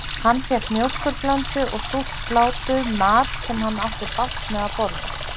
Hann fékk mjólkurblöndu og súrt slátur, mat sem hann átti bágt með að borða.